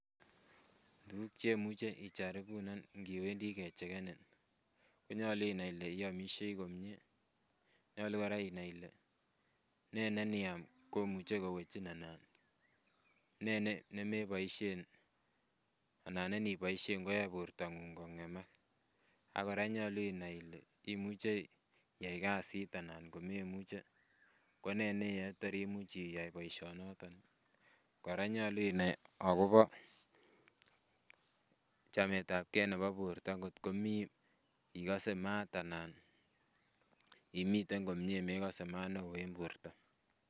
Tuguk chemuche icharipunan ngiwendi kechekenin konyolu inai ile iomisie komie nyolu kora inai ile nee ne iniam komuche kowechin ana nee nemeboisien ana ko niboisien koyoe bortong'ung kong'emak ak kora nyolu inai ile imuche iyai kasit anan komemuche ko nee neiyoe tor imuch iyai boisionoton. Kora nyolu inai akobo chametabgee nebo borto ngotko mii ikose maat anan imiten komie mekose maat neoo en borto